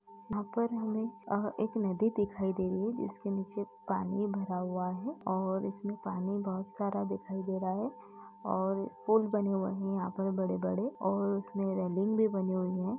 यहाँ पर हमें अ एक नदी दिखाई दे रही है। जिसके इसके नीचे पानी भरा हुआ है और इसमें पानी बहुत सारा दिखाई दे रहा है और पूल बने हुए हैं। यहाँ पर बड़े-बड़े काफ़ी बड़े-बड़े और उसमें रेलिंग भी बनी हुई हैं।